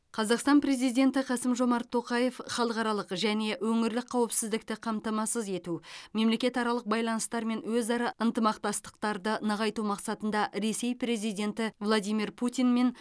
қазақстан президенті қасым жомарт тоқаев халықаралық және өңірлік қауіпсіздікті қамтамасыз ету мемлекетаралық байланыстар мен өзара ынтымақтастықтарды нығайту мақсатында ресей президенті владимир путинмен